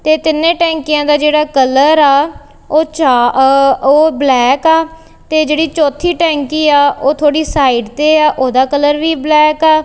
ਤੇ ਤਿੰਨੇ ਟੈਂਕੀਆਂ ਦਾ ਜਿਹੜਾ ਕਲਰ ਆ ਉਹ ਚਾ ਅ ਉਹ ਬਲੈਕ ਆ ਤੇ ਜਿਹੜੀ ਚੌਥੀ ਟੈਂਕੀ ਆ ਉਹ ਥੋੜੀ ਸਾਈਡ ਤੇ ਆ ਉਹਦਾ ਕਲਰ ਵੀ ਬਲੈਕ ਆ।